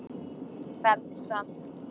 Fermt samt.